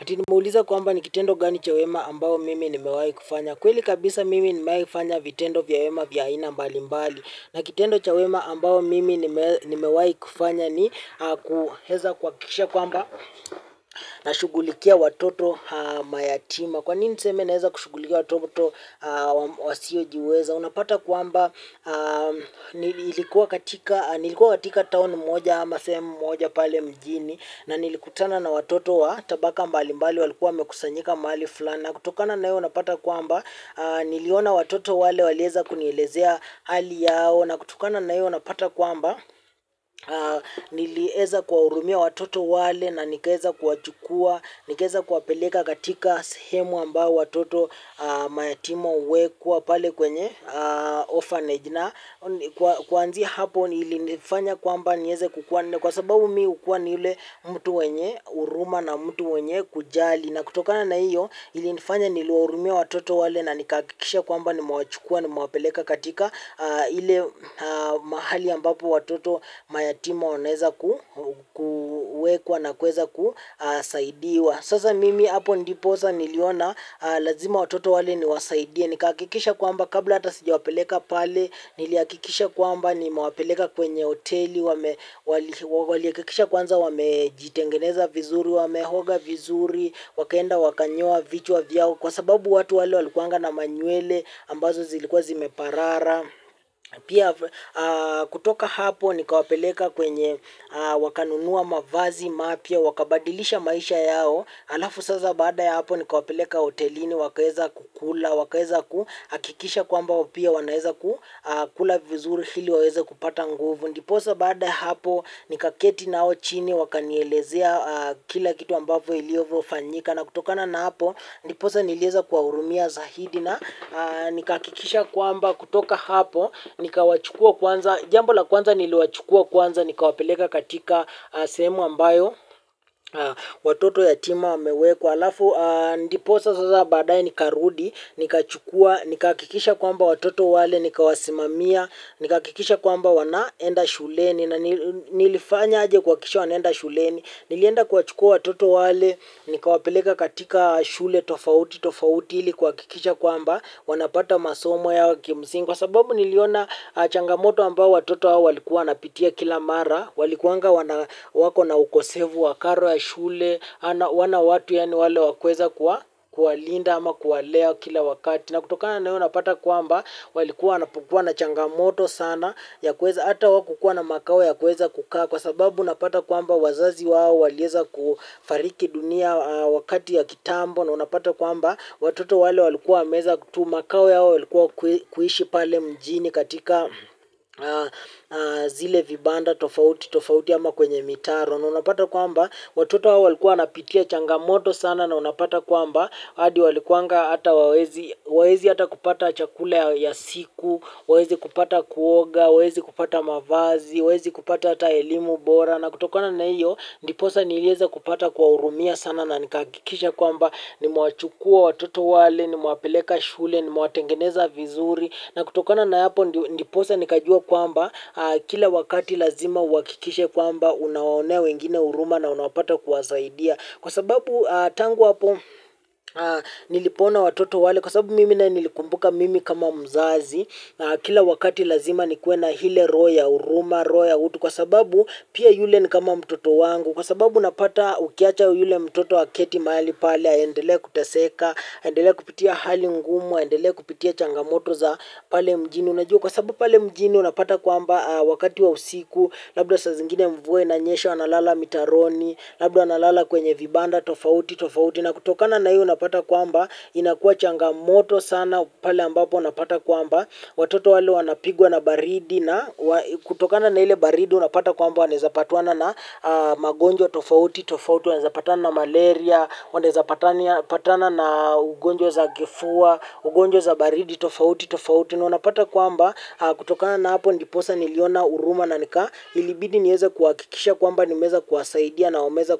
Ati nimeuliza kwamba ni kitendo gani cha wema ambao mimi nimewahi kufanya. Kweli kabisa mimi nimewahi kufanya vitendo vya wema vya aina mbali mbali. Na kitendo cha wema ambao mimi nimewahi kufanya ni kueza kuhakikisha kwamba na shughulikia watoto mayatima. Kwanini niseme naeza kushughulikia watoto wasiojiweza. Unapata kwamba nilikuwa katika town moja ama sehemu moja pale mjini. Na nilikutana na watoto wa tabaka mbali mbali walikuwa wamekusanyika mahali fulani. Na kutokana na hio unapata kwamba niliona watoto wale walieza kunielezea hali yao. Na kutokana na hiyo unapata kwamba nilieza kuwa hurumia watoto wale na nikaeza kuwachukua. Nikaeza kuwapeleka katika sehemu ambao watoto mayatima huwekwa pale kwenye orphanage. Na kuanzia hapo nilifanya kwamba nieze kukua kwa sababu mi hukuwa ni yule mtu mwenye huruma na mtu mwenye kujali. Na kutokana na hiyo ilinifanya niliwahurumia watoto wale na nikahakikisha kwamba nimewachukua nimewapeleka katika ile mahali ambapo watoto mayatima wanaeza kuwekwa na kuweza kusaidiwa. Sasa mimi hapo ndiposa niliona lazima watoto wale niwasaidie nikahakikisha kwamba kabla hata sijawapeleka pale nilihakikisha kwamba nimewapeleka kwenye hoteli wame walihakikisha kwanza wamejitengeneza vizuri wameoga vizuri wakaenda wakanyoa vichwa vyao kwa sababu watu wale walikuanga na manywele ambazo zilikuwa zimeparara pia kutoka hapo nikawapeleka kwenye wakanunua mavazi mapya wakabadilisha maisha yao alafu sasa baada ya hapo nikawapeleka hotelini wakaeza kukula wakaeza kuhakikisha kwamba pia wanaeza kukula vizuri ili waweza kupata nguvu ndiposa baada ya hapo nikaketi nao chini wakanielezea kila kitu ambavyo ilivyofanyika na kutokana na hapo ndiposa nilieza kuwahurumia zaidi na nikahakikisha kwamba kutoka hapo nikawachukua kwanza jambo la kwanza niliwachukua kwanza nikawapeleka katika sehemu ambayo watoto yatima wamewekwa alafu ndiposa sasa baadaye nikarudi. Nikachukua, nikahakikisha kwamba watoto wale, nikawasimamia, nikahakikisha kwamba wanaenda shuleni. Na nilifanya aje kuhakikisha wanaenda shuleni. Nilienda kuwachukua watoto wale, nikawapeleka katika shule tofauti, tofauti ili kuhakikisha kwamba wanapata masomo yao kimsingi. Kwa sababu niliona changamoto ambao watoto hawa walikuwa wanapitia kila mara. Walikuanga wana wako na ukosefu wa karo ya shule wana watu ya ni wale wakuweza kuwa kuwalinda ama kuwalea kila wakati na kutoka na hio unapata kwamba walikuwa wanapokuwa na changamoto sana ya kuweza hata hawakukuwa na makao ya kuweza kukaa kwa sababu unapata kwamba wazazi wao walieza kufariki dunia wakati ya kitambo na unapata kwamba watoto wale walikuwa wameeza tu makao yao yalikuwa kuishi pale mjini katika zile vibanda tofauti tofauti ama kwenye mitaro na unapata kwamba watoto hawa walikuwa wanapitia changamoto sana na unapata kwamba hadi walikuanga hata wawezi waezi hata kupata chakula ya siku wawezi kupata kuoga, wawezi kupata mavazi, wawezi kupata hata elimu bora na kutokana na iyo ndiposa nilieza kupata kuwa hurumia sana na nikahakikisha kwamba nimewachukua watoto wale, nimewapeleka shule, nimewatengeneza vizuri na kutokana na hapo ndiposa nikajua kwamba kila wakati lazima uhakikishe kwamba unaonea wengine huruma na unapata kuwasaidia. Kwa sababu tangu hapo nilipoona watoto wale kwa sababu mimi naye nilikumbuka mimi kama mzazi. Kila wakati lazima nikuwe na hile roho, ya huruma, roho ya utu. Kwa sababu pia yule ni kama mtoto wangu. Kwa sababu unapata ukiacha yule mtoto aketi mahali pale aendelee kuteseka, aendelee kupitia hali ngumu, aendelee kupitia changamoto za pale mjini unajua kwa sababu pale mjini unapata kwamba wakati wa usiku labda saa zingine mvua inanyesha wanalala mitaroni labda wanalala kwenye vibanda tofauti tofauti na kutokana na hiyo unapata kwamba inakuwa changamoto sana pale ambapo unapata kwamba watoto wale wanapigwa na baridi na kutokana na ile baridi unapata kwamba wanaezapatwana na magonjwa tofauti tofauti wanaeza patana na malaria wanaeza patana na ugonjwa za kifua ugonjwa za baridi tofauti tofauti na unapata kwamba kutokana na hapo ndiposa niliona huruma na nika ilibidi nieze kuhakikisha kwamba nimeweza kuwasaidia na wameeza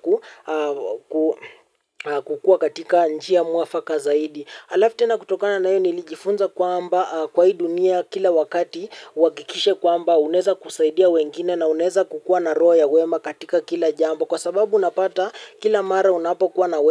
kukua katika njia mwafaka zaidi alafu tena kutokana na hiyo nilijifunza kwamba kwa hii dunia kila wakati uhakikishe kwamba unaeza kusaidia wengine na unaeza kukuwa na roho ya wema katika kila jambo kwa sababu unapata kila mara unapokuwa na wema.